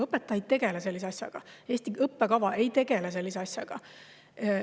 Õpetaja ei tegele sellise asjaga, Eesti õppekava ei tegele sellise asjaga.